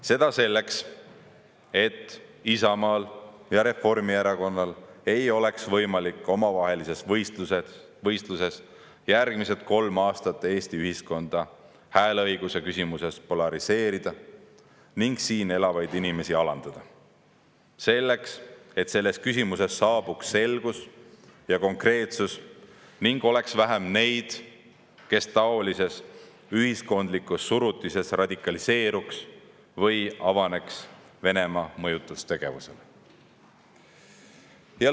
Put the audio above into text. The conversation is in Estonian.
Seda selleks, et Isamaal ja Reformierakonnal ei oleks võimalik omavahelises võistluses järgmised kolm aastat Eesti ühiskonda hääleõiguse küsimuses polariseerida ning siin elavaid inimesi alandada, samuti selleks, et selles küsimuses saabuks selgus ja konkreetsus ning oleks vähem neid, kes taolises ühiskondlikus surutises radikaliseeruks või avaneks Venemaa mõjutustegevusele.